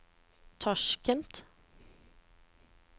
Tasjkent